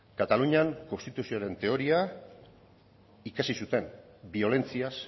katalunian konstituzioaren teoria ikasi zuten biolentziaz